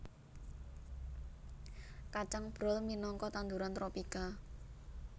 Kacang brol minangka tanduran tropika